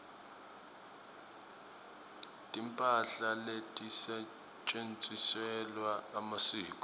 timphahla letisetjentiselwa emasiko